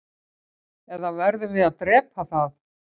eða verðum við að drepa það